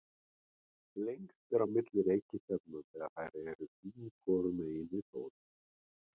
lengst er á milli reikistjarnanna þegar þær eru sín hvoru megin við sól